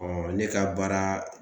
ne ka baara